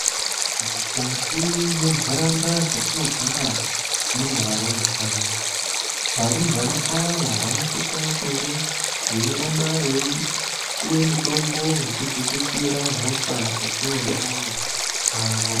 Mukati mwenharaunda dzetinogara mune varumbwana. Varumbwana ava vanosisa kunge veiramba veipuwa mitombo yekudzikisira hosha mukati mwendaramo yavo.